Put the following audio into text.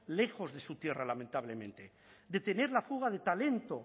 lejos de su tierra lamentablemente detener la fuga de talento